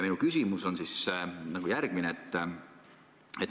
Minu küsimused on järgmised.